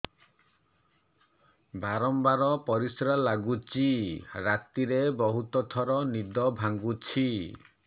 ବାରମ୍ବାର ପରିଶ୍ରା ଲାଗୁଚି ରାତିରେ ବହୁତ ଥର ନିଦ ଭାଙ୍ଗୁଛି